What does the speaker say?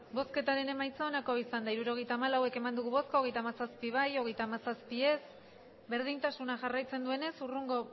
hirurogeita hamalau eman dugu bozka hogeita hamazazpi bai hogeita hamazazpi ez berdintasuna jarraitzen duenez hurrengo